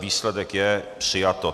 Výsledek je přijato.